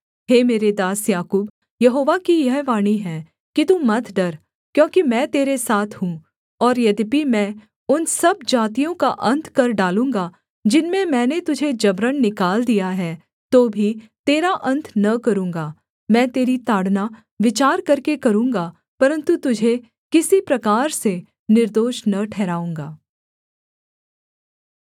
हे मेरे दास याकूब यहोवा की यह वाणी है कि तू मत डर क्योंकि मैं तेरे साथ हूँ और यद्यपि मैं उन सब जातियों का अन्त कर डालूँगा जिनमें मैंने तुझे जबरन निकाल दिया है तो भी तेरा अन्त न करूँगा मैं तेरी ताड़ना विचार करके करूँगा परन्तु तुझे किसी प्रकार से निर्दोष न ठहराऊँगा